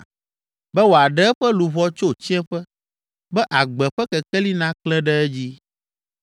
be wòaɖe eƒe luʋɔ tso tsiẽƒe, be agbe ƒe kekeli naklẽ ɖe edzi.